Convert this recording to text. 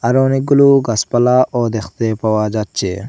আরও অনেকগুলো গাছপালা ও দেখতে পাওয়া যাচ্ছে।